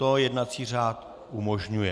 To jednací řád umožňuje.